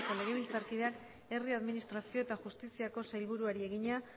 taldeko legebiltzarkideak herri administrazio eta justiziako sailburuari egina